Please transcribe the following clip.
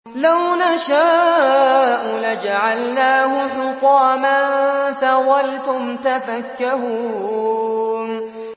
لَوْ نَشَاءُ لَجَعَلْنَاهُ حُطَامًا فَظَلْتُمْ تَفَكَّهُونَ